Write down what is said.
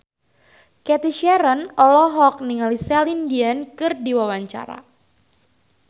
Cathy Sharon olohok ningali Celine Dion keur diwawancara